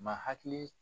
Ma hakili